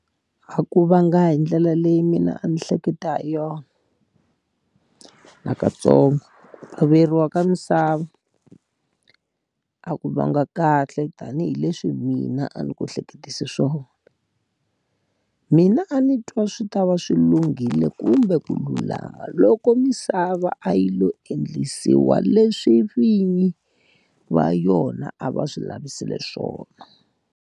A ku va nga hi ndlela leyi mina a ni hleketa hi yona, nakantsongo. Averiwa ka misava, a ku va nga kahle tanihileswi mina a ni ku hleketise swona. Mina a ni twa swi ta va swi lunghile kumbe ku lulama loko misava a yi lo endlisiwa leswi vinyi va yona a va swi lavisile swona.